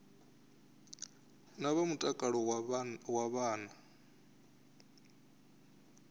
na vha mutakalo wa vhana